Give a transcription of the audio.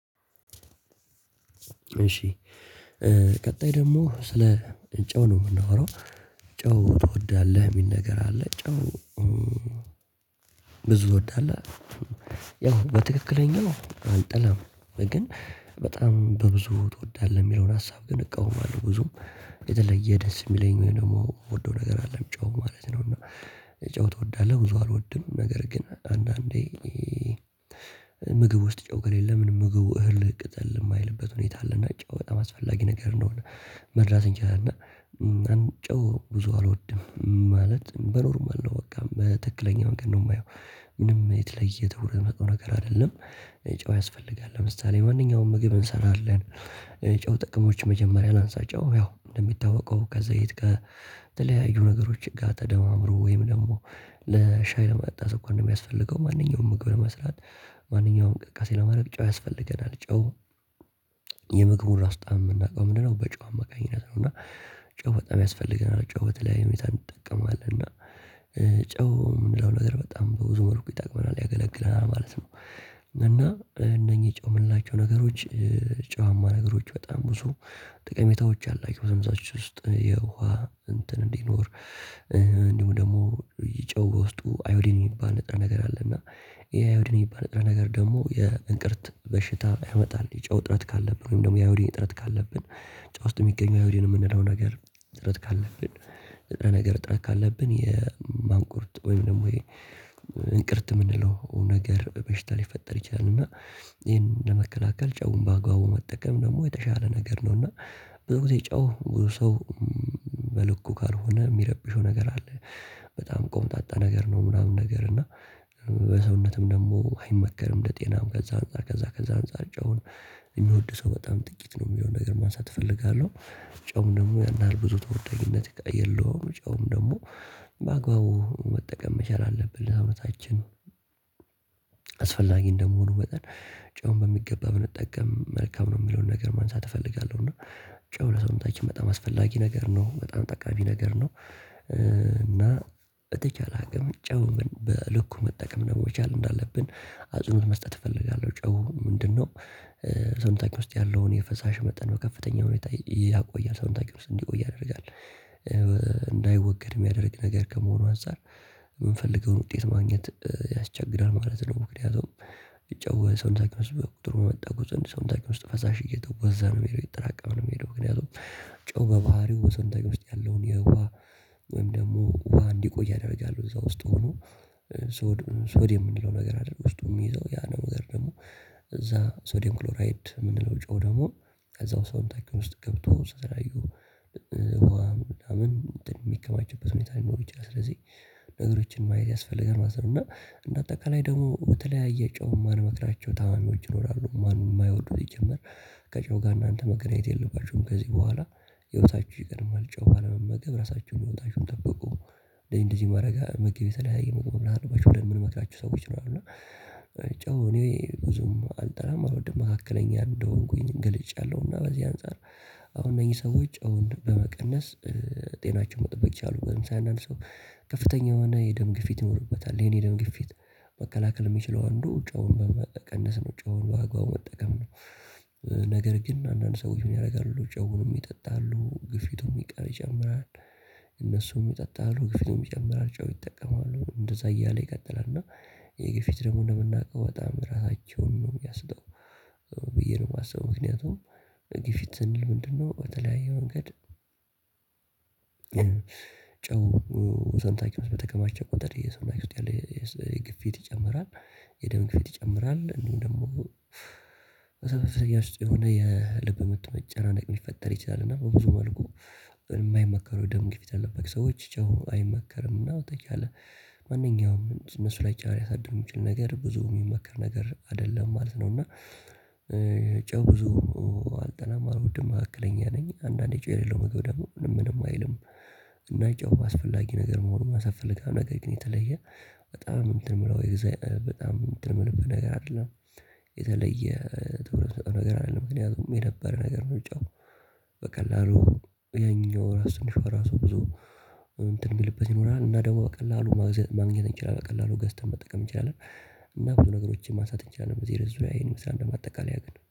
እሺ። ቀጣይ ደግሞ ስለ ጨው ነው የምናወራው ጨው ትወዳለህ የሚል ነገር አለ። ጨው? ብዙ እወዳለሁ ያው በትክክለኛው አልጠላም ግን በጣም በብዙ ትወዳለህ የሚለውን ሀሳብ ግን እቃወማለሁ። ብዙም የተለየ ደስ የሚለኝ ወይም ደግሞ የምወደው ነገር አደለም ጨው ማለት ነው። እና ጨው ትወዳለህ? ብዙ አልወድም ነገር ግን አንዳንዴ ምግብ ውስጥ ጨው ከሌለ ምንም ምግብ እህል ቅጠል የማይልበት ሁኔታ አለና ጨው በጣም አስፈላጊ ነገር እንደሆነ መረዳት እንችላለን። እና ጨው ብዙ አልወድም ማለት በኖርማል ነው በቃ በትክክለኛ መንገድ ነው የማየው። ምንም የተለየ የሆነ ነገር አይደለም። ጨው ያስፈልጋል ለምሳሌ ማንኛውም ምግብ እንሰራለን። ጨው ጥቅሞች መጀመሪያ ላንሳ ጨው ያው እንደሚታወቀው ከዘይት ከተለያዩ ነገሮች ጋር ተደማምሮ ወይም ደግሞ ለሻይ ለመጠጣት ስኳር እንደሚያስፈልገው ማንኛውም ምግብ ለመስራት ማንኛውም እኘዠንቅስቃሴ ለማድረግ ጨው ያስፈልገናል። ጨው የምግብ ራሱ ጣዕም የምናውቀው ምንድነው? በጨው አማካኝነትት ነው። እና ጨው በጣም ያስፈልገናል ጨው በተለይ ሁኔታ ይጠቀማል እና ጨው ምንለው ነገር በጣም በብዙ መልኩ ይጠቅመናል ያገለግለናል ማለት ነው። እና እነኚህ ጨው የምንላቸው ነገሮች ጨዋማ ነገሮች በጣም ብዙ ጥቀሜታዎች አላቸው። ሰውነታችን ውስጥ የውሃ እንትን እንዲኖር እንዲሁ ደግሞ ጨው በውስጡ አዮዲን የሚባል ንጥረ ነገር አለ። እና ይሄ አዮዲን የሚባል ንጥረ ነገር ደግሞ የእንቅርት በሽታ ያመጣል የጨው እጥረት ካለብን ወይም ደግሞ የአዮዲን እጥረት ካለብን። ጨው ውስጥ የሚገኘው አዮዲን የምንለው ነገር እጥረት ካለብን ንጥረ ነገር እጥረት ካለብን የማንቁርት ወይም ደግሞ የእንቅርት የምንለው ነገር በሽታ ሊፈጠር ይችላልና። ይሄን ለመከላከል ጨውን በአግባቡ መጠቀም ደግሞ የተሻለ ነገር ነው። እና ብዙ ጊዜ ጨው ሰው በልኩ ካልሆነ የሚያረብሸው ነገር አለ። በጣም ቆምጣጣ ነገር ነው ምናምን ነገር እና ለሰውነትም ደግሞ አይመከርም ለጤናም ከዛ አንፃር ከዛ ከዛ አንፃር ጨውን የሚወድ ሰው በጣም ጥቂት ነው የሚለውን ነገር ማንሳት እፈልጋለሁ። ጨውም ደግሞ ያን ያህል ብዙ ተወዳጅነት የለውም። ጨውም ደግሞ በአግባቡ መጠቀም መቻል አለብን ለሰውነታችን። አስፈላጊ እንደመሆኑ መጠን ጨውን በሚገባ ብንጠቀም መልካም ነው የሚለውን ነገር ማንሳት እፈልጋለሁ። እና ጨው ለሰውነታችን በጣም አስፈላጊ ነገር ነው በጣም ጠቃሚ ነገር ነው። እና በተቻለ አቅም ጨው በልኩ መጠቀም ነው መቻል እንዳለብን አጽንኦት መስጠት እፈልጋለሁ። ጨው ምንድነው? ሰውነታች ውስጥ ያለውን የፈሳሽ መጠን በከፍተኛ ሁኔታ ያቆያል ሰውነታችን ውስጥ እንዲቆይ ያደርጋል። እንዳይወገድ የሚያደርግ ነገር ከመሆኑ አንፃር የምንፈልገውን ውጤት ማግኘት ያስቸግራል ማለት ነው። ምክንያቱም የጨው ሰውነታችን ውስጥ በርክቶ በመጣ ቁጥር ሰውነታችን ውስጥ ፈሳሽ እየተወዛ ነው የሚሄደው እየተጠራቀመ ነው የሚሄደው። ምክንያቱም ጨው በባህሪው በሰንታች ውስጥ ያለውን የውሃ ወይም ደግሞ ውሃ እንዲቆይ ያደርጋል። እዛ ውስጥ ሆኖ ሶድ ሶድየም ምንለው ነገር አለ። በውስጡ የሚይዘው ያ ነገር ደግሞ እዛ ሶዲየም ክሎራይድ የምንለው ጨው ደግሞ ከዛው ሰውነታችን ውስጥ ገብቶ ስትራዩ ምን የሚከማቸውበት ሁኔታ ሊኖር ይችላል። ስለዚህ ነገሮችን ማየት ያስፈልጋል ማለት ነው። እና እንደአጠቃላይ ደግሞ በተለያየ ጨው የማንመክራቸው ታማሚዎች ይኖራሉ። ማን የማይወዱት ይጀምር? ከጨው ጋር እናንተ መገናኘት የለባችሁም። ከዚህ በኋላ ህይወታችሁ ይቀድማል ጨው ባለመመገብ ራሳችሁን ህይወታችሁን ጠብቁ። እንደዚህ እንደዚህ ማረጊያ ምግብ የተለያየ ምግብ መብላት አለባችሁ ምንመክራችሁ ሰዎች ይኖራሉው። እና ጫው እኔ ብዙም አልጠላም አልወድም መካከለኛ እንደሆንኩኝ ገልጫለሁ እና በዚህ አንፃር። አሁን እነዚህ ሰዎች አሁን በመቀነስ ጤናቸውን መጠበቅ ይቻላል። ሳይ አንዳንድ ሰው ከፍተኛ የሆነ የደም ግፊት ይኖርበታል የኔ ደም ግፊት መከላከል የሚችለው አንዱ ጫውን በቀንስ ውጫውን በአግባቡ መጠቀም ነው። ነገር ግን አንዳንድ ሰዎች ምን ያደርጋሉ? ጨውንም ይጠጣሉ ግፊቱም ይቀር ይችላል። እነሱም ይጠጣሉ ግፊቱም ይጨምራል ጫው ይጠቀማሉ እንደዛ እያለ ይቀጥላል። እና የግፊት ደግሞ ለመናቀብ በጣም ራሳቸውን ነው የሚያስጠው። ብዬ ነው የማስበው። ምክንያቱም ግፊት ስንል ምንድነው? በተለያየ መንገድ ጨው ወዘን ታይኪንስ በተከማቸ ቆጠር የሰው ላይ ውስጥ ያለ የግፊት ይጨምራል። የደም ግፊት ይጨምራል። እንዲሁም ደግሞ በሰበሰቢያ ውስጥ የሆነ የልብ ምት መጨናቅ የሚፈጠር ይችላል። እና በብዙ መልኩ የማይመከሩ ደም ግፊት የለበት ሰዎች ጨው አይመከርም። እና በተቻለ ማንኛውም እነሱ ላይ ጫና ያሳድሩ የሚችል ነገር ብዙ የሚመከር ነገር አይደለም ማለት ነው። እና ጨው ብዙ አልጠላም አልወድም ማዕከለኛ ነኝ። አንዳንዴ ጨው የሌለው ምግብ ደግሞ ምንም ምንም አይልም። እና የጨው አስፈላጊ ነገር መሆንን ማሳት እፈልጋለሁ። ነገር ግን የተለየ በጣም እንትን የምለው የጊዜ በጣም እንትን ምልበት ነገር አይደለም። የተለየ ትኩርት ምሰጠው ነገር አይደለም። ምክንያቱም የነበረ ነገር ጫው በቀላሉ የኛ ወራስ ትንሽ ራሱ ብዙ እንትን የሚልበት ይኖራል። እና ደግሞ በቀላሉ ማግኘት እንችላለን በቀላሉ ገዝተን መጠቀም እንችላለን። እና ብዙ ነገሮችን ማሳት ይቻላል። በዚህ ርዕስ ዙሪያ ይህን ይመስላል በማጠቃለያ ግን